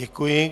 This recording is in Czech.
Děkuji.